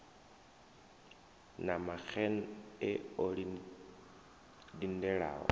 na maxenn e o lindelaho